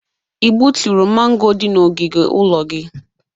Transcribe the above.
I gbuturu mango dị n'ogige ụlọ gị?